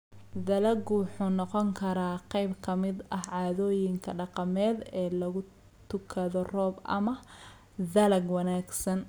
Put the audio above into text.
Dalaggu wuxuu noqon karaa qayb ka mid ah caadooyinka dhaqameed ee lagu tukado roob ama dalag wanaagsan.